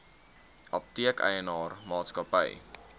apteek eienaar maatskappy